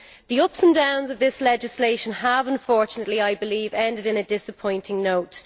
The ups and downs of this legislation have, unfortunately, ended on a disappointing note.